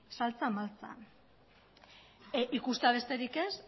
maltsa ikustea besterik ez